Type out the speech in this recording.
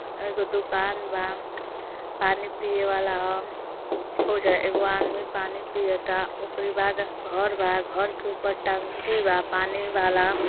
एगो दुकान बा। पानी पिये वाला ह। होजा एगो आदमी पानी पियता ओकरी बाद घर बा घर के ऊपर टंकी बा पानी वाला।